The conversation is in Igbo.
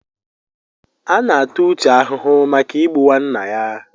A na-ata Uche ahụhụ maka Igbu nwanna ya.